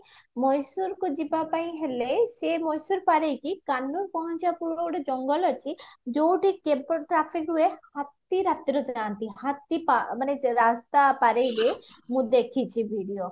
ମହେଶ୍ଵରକୁ ଯିବା ପାଇଁ ହେଲେ ସେ ମହେଶ୍ଵର ପାର ହେଇକି ପହଞ୍ଚିବା ପୂର୍ବରୁ ଗୋଟେ ଜଙ୍ଗଲ ଅଛି ଯୋଉଠି traffic ରୁହେ ହାତୀ ରାତିରେ ଯାଆନ୍ତି ହାତୀ ମାନେ ରାସ୍ତା ପାର ହେଇକି ମୁଁ ଦେଖିଛି video